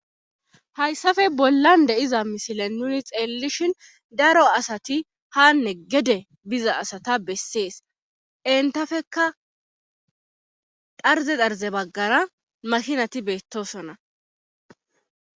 hayssafe bollan deiza mishile nuni xeellishhin daro asati haanne gede biza asata bessees entafekka dharze xarze baggara makinati beettosonna